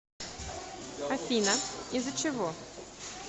афина из за чего